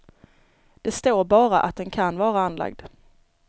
Det står bara att den kan vara anlagd.